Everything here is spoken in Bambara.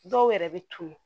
Dɔw yɛrɛ bɛ tunun